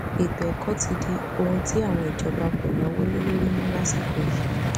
ètò ẹkọ ti di ohun tí àwọn ìjọba kò náwó lé lórí mọ lásìkò yìí